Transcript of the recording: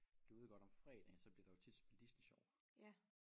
Du ved godt om fredagen så bliver der jo tit spillet Disney Sjov